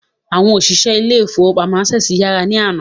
Àwọn òṣìṣẹ́ ilé ìfọwọ́pamo Access yàrá ní àná.